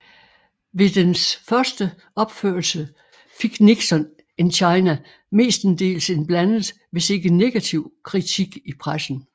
Ved dens første opførelse fik Nixon in China mestendels en blandet hvis ikke negativ kritik i pressen